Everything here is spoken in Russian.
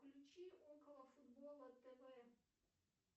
включи околофутбола тв